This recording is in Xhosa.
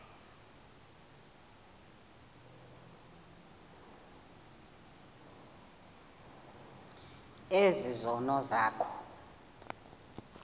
ezi zono zakho